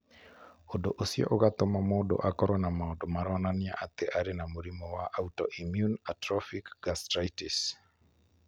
Ũndũ ũcio ũgatũma mũndũ akorũo na maũndũ maronania atĩ arĩ na mũrimũ wa autoimmune atrophic gastritis.